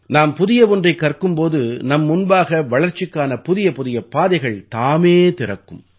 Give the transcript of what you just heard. நாம் புதிய ஒன்றைக் கற்கும் போது நம் முன்பாக வளர்ச்சிக்கான புதியபுதிய பாதைகள் தாமே திறக்கும்